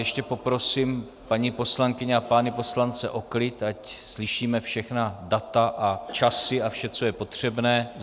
Ještě poprosím paní poslankyně a pány poslance o klid, ať slyšíme všechna data a časy a vše, co je potřebné.